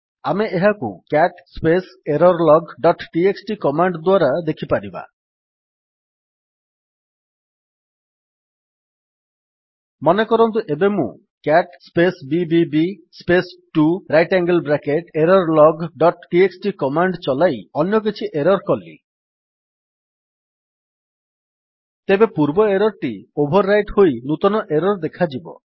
ଆମେ ଏହାକୁ CAT space error log dot TXT command ଦ୍ୱାରା ଦେଖିପାରିବା ମନେକରନ୍ତୁ ଏବେ ମୁଁ CAT space BBB space 2 right angle bracket error log dot TXT command ଚଲାଇ ଅନ୍ୟ କିଛି ଏରର୍ କଲି ତେବେ ପୂର୍ବ ଏରର୍ ଟି ଓଭର୍ ରାଇଟ୍ ହୋଇ ନୂତନ ଏରର୍ ଦେଖାଯିବ